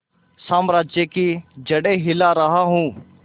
साम्राज्य की जड़ें हिला रहा हूं